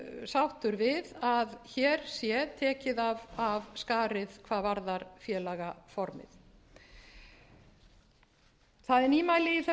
sáttur við að hér sé tekið af skarið hvað varðar félagaformið það er nýmæli í þessu